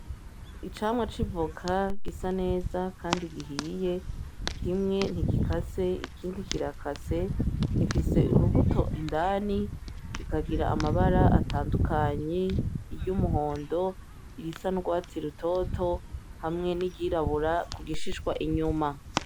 Icamwa civuka gisa neza, kandi gihiye kimwe ntigikase ikindi kirakase ifise urubuto indani gikagira amabara atandukanyi iryo umuhondo irisa ndwatsi i rutoto hamwe nigirabura ku gishishwa inyuma.